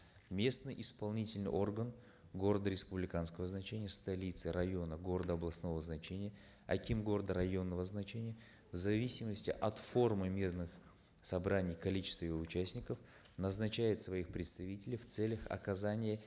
местный исполнительный орган города республиканского значения столицы района города областного значения аким города районного значения в зависимости от формы мирных собраний и количества его участников назначает своих представителей в целях оказания